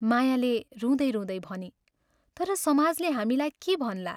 मायाले रुँदै रुँदै भनी, "तर समाजले हामीलाई के भन्ला?